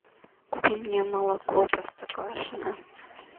купи мне молоко простоквашино